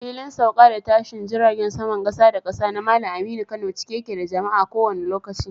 Filin Sauka da Tashin Jiragen Saman Kasa da Kasa na Malam Aminu Kano cike yake da jama'a a kowanne lokaci.